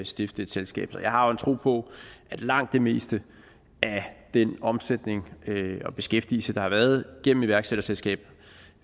stifte et selskab så jeg har jo en tro på at langt det meste af den omsætning og beskæftigelse der har været gennem iværksætterselskaber